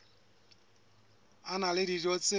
a na le dijo tse